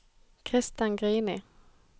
Christen Grini